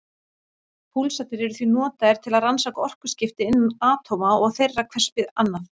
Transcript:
Púlsarnir eru því notaðir til að rannsaka orkuskipti innan atóma og þeirra hvers við annað.